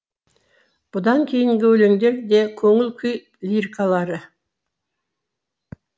бұдан кейінгі өлеңдер де көңіл күй лирикалары